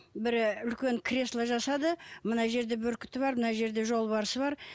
бір үлкен кресло жасады мына жерде бүркіті бар мына жерде жолбарысы бар